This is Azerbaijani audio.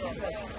Qoy, qoy.